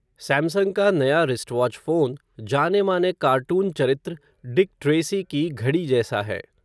Samsung का नया, wristwatch phone, जानेमाने कार्टून चरित्र, डिक ट्रेसी की घड़ी जैसा है